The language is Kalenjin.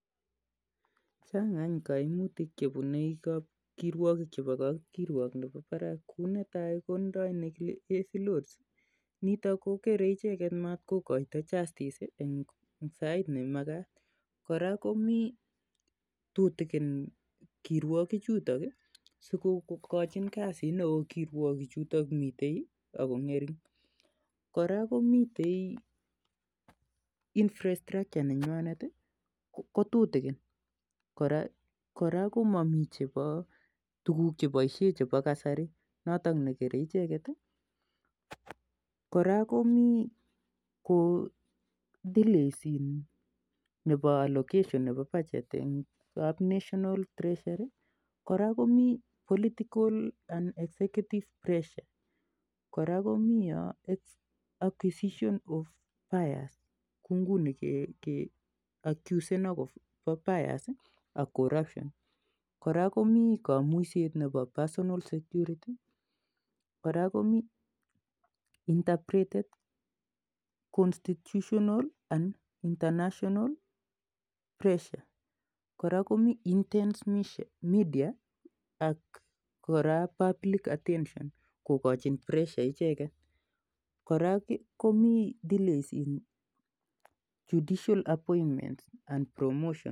Chang' any kaimutik che pune kirwakik che pa kapkirwok ne pa parak kou ne tai ko tindoi heavy loads nitok kokere icheget matkokaita justice eng' sait ne makat . Kora kontutikin kirwakichutok i, si ko kachin kasit neo kirwakik chutok mi ak ko ng'ering' . Kora ko mitei infrastructure ko tutikin. Kora ko mami tuguk che paishe che pa kasari notok ne kerei icheget. kora komi kou delays nepo allocation nepo budget eng' kap National Treasury. Kora komi political and effective pressure. Kora komi acquisition of bias kou nguni keakusen akopa bias i, ak corruption. Kora komi kamuiset nepa personal security. kora komi Interpreted Constitutional and National pewssure. Kora komi intense media ak kora (cspublic attention kokachin pressure icheget kora komi delays eng' judicial appointments ak promotions